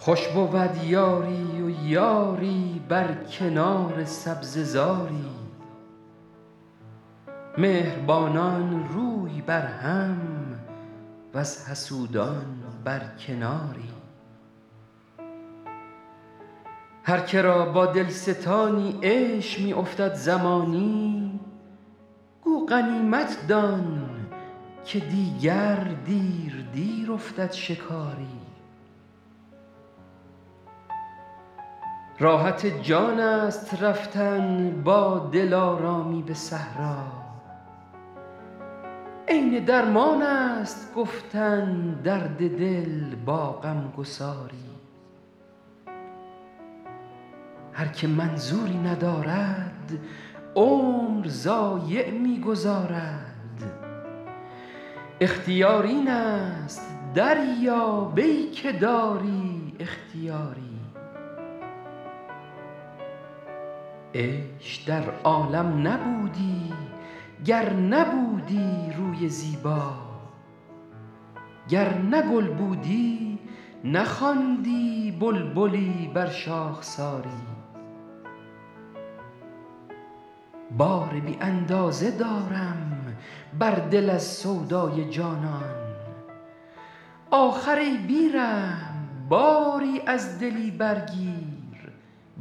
خوش بود یاری و یاری بر کنار سبزه زاری مهربانان روی بر هم وز حسودان بر کناری هر که را با دل ستانی عیش می افتد زمانی گو غنیمت دان که دیگر دیر دیر افتد شکاری راحت جان است رفتن با دلارامی به صحرا عین درمان است گفتن درد دل با غم گساری هر که منظوری ندارد عمر ضایع می گذارد اختیار این است دریاب ای که داری اختیاری عیش در عالم نبودی گر نبودی روی زیبا گر نه گل بودی نخواندی بلبلی بر شاخساری بار بی اندازه دارم بر دل از سودای جانان آخر ای بی رحم باری از دلی برگیر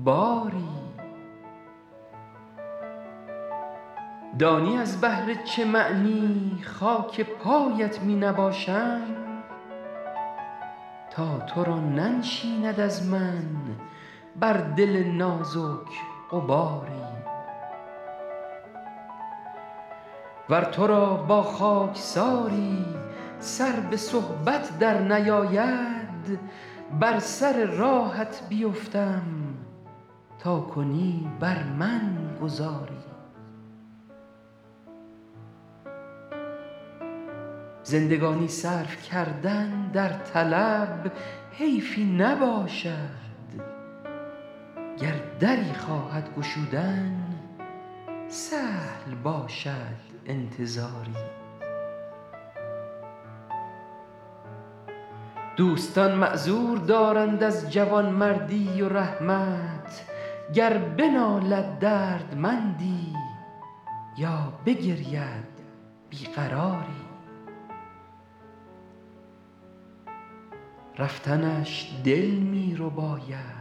باری دانی از بهر چه معنی خاک پایت می نباشم تا تو را ننشیند از من بر دل نازک غباری ور تو را با خاکساری سر به صحبت درنیاید بر سر راهت بیفتم تا کنی بر من گذاری زندگانی صرف کردن در طلب حیفی نباشد گر دری خواهد گشودن سهل باشد انتظاری دوستان معذور دارند از جوانمردی و رحمت گر بنالد دردمندی یا بگرید بی قراری رفتنش دل می رباید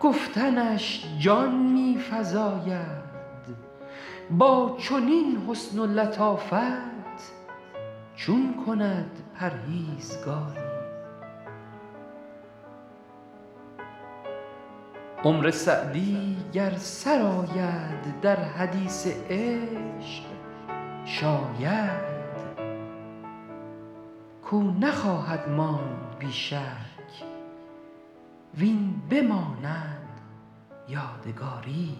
گفتنش جان می فزاید با چنین حسن و لطافت چون کند پرهیزگاری عمر سعدی گر سر آید در حدیث عشق شاید کاو نخواهد ماند بی شک وین بماند یادگاری